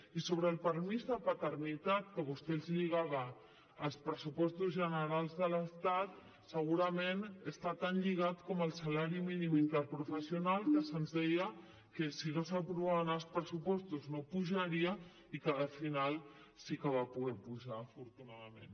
i sobre el permís de paternitat que vostè ens lligava als pressupostos generals de l’estat segurament hi està tan lligat com el salari mínim interprofessional que se’ns deia que si no s’aprovaven els pressupostos no pujaria i que al final sí que va poder pujar afortunadament